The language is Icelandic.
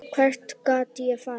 Hvert gat ég farið?